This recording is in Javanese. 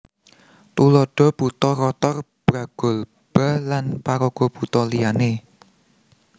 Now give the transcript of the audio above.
Tuladha Buta Rotor Bragolba lan paraga buta liyané